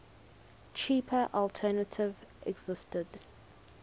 cheaper alternative existed